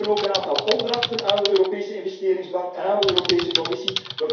We geven ook een aantal opdrachten aan de Europese Investeringsbank en aan de Europese Commissie.